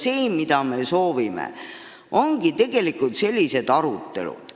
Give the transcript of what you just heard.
See, mida me soovime, ongi tegelikult sellised arutelud.